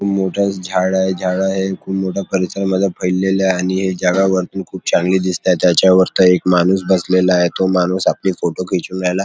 खूप मोठ झाडय झाड हे खूप मोठा परिसर पडलेले आहे आणि हे जगा वरतून खूप छान चांगल दिसताते त्याच्यावर्त एक माणूस बसलेला आहे तो माणूस आपले फोटो खेचून राहीलाय.